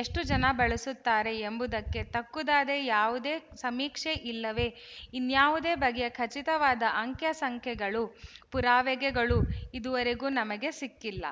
ಎಷ್ಟುಜನ ಬಳಸುತ್ತಾರೆ ಎಂಬುದಕ್ಕೆ ತಕ್ಕುದಾದ ಯಾವುದೇ ಸಮೀಕ್ಷೆ ಇಲ್ಲವೇ ಇನ್ಯಾವುದೇ ಬಗೆಯ ಖಚಿತವಾದ ಅಂಕ್ಯ ಸಂಖ್ಯೆಗಳು ಪುರಾವೆಗಳು ಇದುವರೆಗೂ ನಮಗೆ ಸಿಕ್ಕಿಲ್ಲ